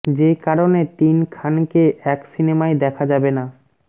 যে কারণে তিন খানকে এক সিনেমায় দেখা যাবে না